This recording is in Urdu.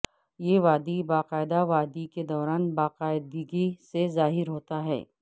یہ وادی باقاعدہ وادی کے دوران باقاعدگی سے ظاہر ہوتا ہے